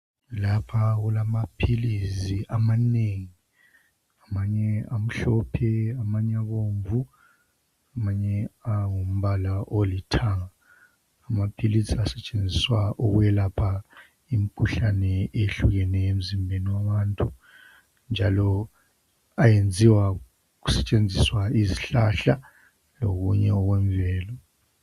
Lapha kulamaphilizi amanengi amanye amhlophe amanye abomvu amanye angumbala olithanga amaphilisi asetshenziswa ukwelapha imikhuhlane ehlukeneyo emzimbeni yabantu njalo ayenziwa kusetshenziswa izihlahla lokunye okwemvelo .